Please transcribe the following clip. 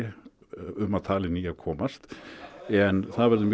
um að tala en í að komast en það verður mjög